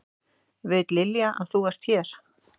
Veit Lilja að þú ert hér?